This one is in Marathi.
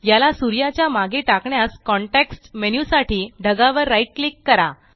याला सूर्याच्या मागे टाकण्यास कॉन्टेक्स्ट मेन्यु साठी ढगावर right क्लिक करा